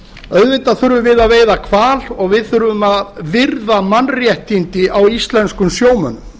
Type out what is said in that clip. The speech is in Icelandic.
auðvitað þurfum við að veiða hval og við þurfum að virða mannréttindi íslenskra sjómanna